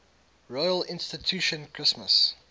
royal institution christmas